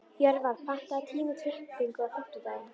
Jörvar, pantaðu tíma í klippingu á fimmtudaginn.